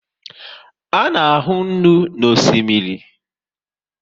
A na ahu nnu na osimiri